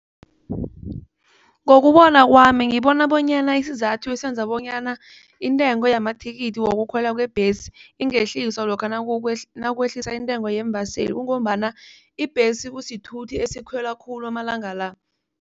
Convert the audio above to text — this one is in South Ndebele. Ngokubona kwami ngibona bonyana isizathu esenza bonyana intengo yamathikithi wokukhwela kwebhesi ingehliswa lokha nakwehliswa intengo yeembaseli kungombana ibhesi kusithuthi esikhwele khulu amalanga la.